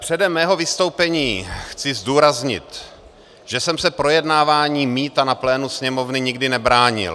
Předem svého vystoupení chci zdůraznit, že jsem se projednávání mýta na plénu Sněmovny nikdy nebránil.